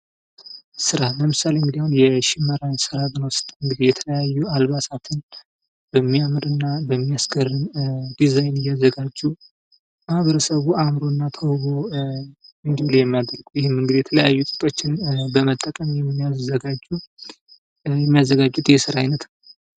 ስራ ለምሳሌ እንግዲህ አሁን የሸመና ስራን ብንወስድ የተለያዩ አልባሳትን አበሚያምር እና በሚያስገርም ዲዛይን እያዘጋጁ ማበረሰቡ አዕምሮ እና ተውቦ እንዲለይ የሚያደርጉ ይህም እንግዲህ የተለያዩ ጥጦችን በመጠቀም የሚያዘጋጁት የስራ አይነት ነው።